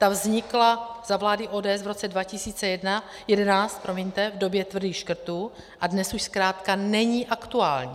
Ta vznikla za vlády ODS v roce 2011 v době tvrdých škrtů a dnes už zkrátka není aktuální.